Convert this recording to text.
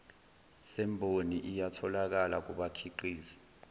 semboni iyatholakala kubakhiqizi